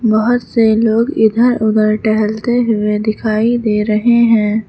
बहोत से लोग इधर उधर टहलते हुए दिखाई दे रहे हैं।